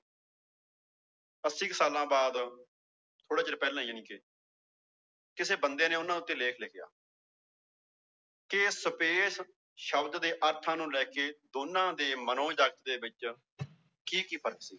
ਅੱਸੀ ਕੁ ਸਾਲਾਂ ਬਾਅਦ ਥੋੜ੍ਹੇ ਚਿਰ ਪਹਿਲਾਂ ਜਾਣੀ ਕਿ ਕਿਸੇ ਬੰਦੇ ਨੇ ਉਹਨਾਂ ਉੱਤੇ ਲੇਖ ਲਿਖਿਆ ਕਿ space ਸ਼ਬਦ ਦੇ ਅਰਥਾਂ ਨੂੰ ਲੈ ਕੇ ਦੋਨਾਂ ਦੇ ਮਨੋ ਜਗਤ ਦੇ ਵਿੱਚ ਕੀ ਕੀ ਫ਼ਰਕ ਸੀ।